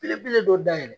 Belebele dɔ da yɛlɛ